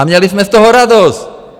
A měli jsme z toho radost.